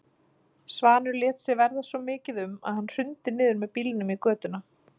Svanur lét sér verða svo mikið um að hann hrundi niður með bílnum í götuna.